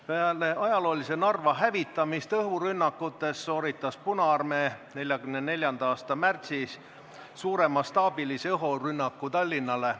Peale ajaloolise Narva hävitamise õhurünnakute käigus korraldas Punaarmee 1944. aasta märtsis suuremastaabilise õhurünnaku ka Tallinnale.